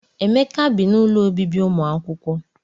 Emeka bị n'ụlọ ọbibi umuakwukwo.